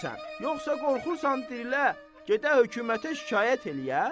sən, yoxsa qorxursan dirilə, gedə hökumətə şikayət eləyə?